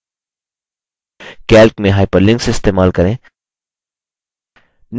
calc में hyperlinks इस्तेमाल करें